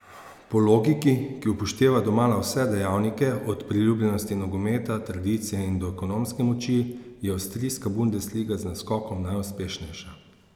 Po logiki, ki upošteva domala vse dejavnike, od priljubljenosti nogometa, tradicije in do ekonomske moči, je avstrijska bundesliga z naskokom najuspešnejša.